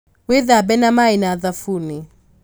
wĩthambe na maĩ na thabuni